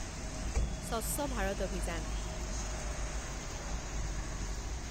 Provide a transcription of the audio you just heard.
স্বচ্ছ ভাৰত অভিযান